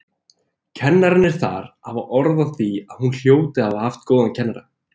Kennararnir þar hafa orð á því að hún hljóti að hafa haft góðan kennara.